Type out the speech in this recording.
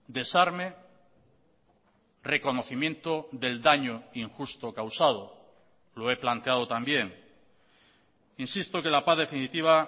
desarme reconocimiento del daño injusto causado lo he planteado también insisto que la paz definitiva